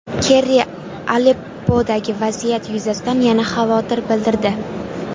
Kerri Aleppodagi vaziyat yuzasidan yana xavotir bildirdi.